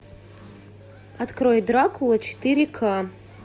открой дракула четыре ка